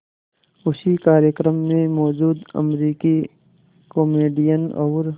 उसी कार्यक्रम में मौजूद अमरीकी कॉमेडियन और